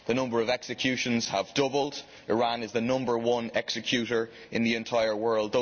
The number of executions has doubled. Iran is the number one executor in the entire world.